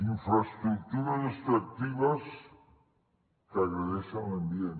infraestructures extractives que agredeixen l’ambient